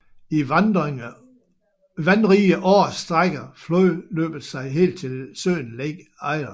I vandrige år strækker flodløbet sig helt til søen Lake Eyre